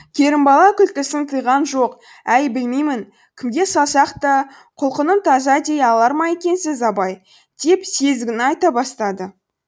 керімбала күлкісін тыйған жоқ әй білмеймін кімге салсақ та құлқыным таза дей алар ма екенсіз абай деп сезігін айта бастады